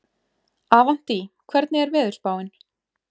Avantí, hvernig er veðurspáin?